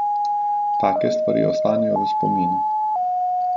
Take stvari ostanejo v spominu.